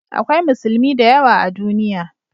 Akwai Musulmi da yawa a duniya